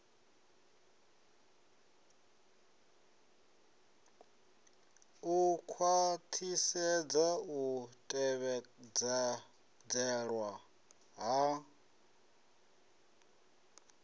u khwaṱhisedza u tevhedzelwa ha